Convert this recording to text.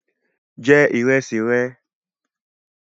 Je ìrẹsì re